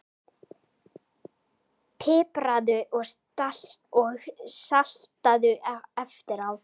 Pipraðu og saltaðu eftir á.